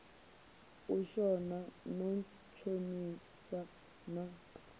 u shona no ntshonisa na